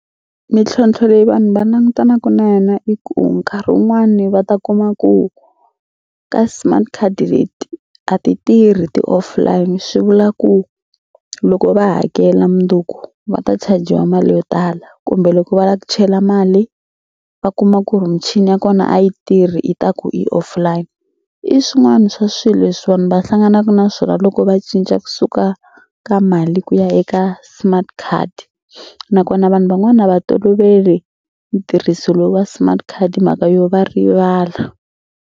Mintlhontlho leyi vanhu va langutanaka na yona i ku nkarhi wun'wani va ta kuma ku ka smart card leti a ti tirhi ti offline swi vula ku loko va hakela mundzuku va ta chajiwa mali yo tala kumbe loko va la ku chela mali va kuma ku ri michini ya kona a yi tirhi i ta ku i offline i swin'wana swa swilo leswi vanhu va hlanganaka na swona loko va cinca kusuka ka mali ku ya eka smart card nakona vanhu van'wana a va toloveli ntirhiso lowu wa smart card mhaka yo va rivala.